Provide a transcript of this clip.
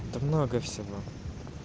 да много всего